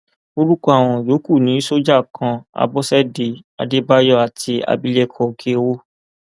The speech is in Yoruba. orúkọ àwọn yòókù ni sójà kan àbọṣẹdé àdébáyò àti abilékọ òkèọwò